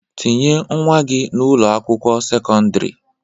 Tinye nwa gị n'Ụlọ akwụkwọ sekọndrị!